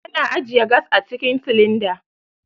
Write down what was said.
Ana ajiyan gas cikin silinda.